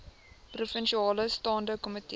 provinsiale staande komitee